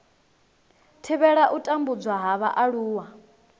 thivhela u tambudzwa ha vhaaluwa